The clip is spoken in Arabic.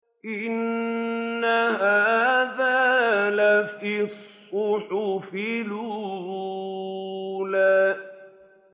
إِنَّ هَٰذَا لَفِي الصُّحُفِ الْأُولَىٰ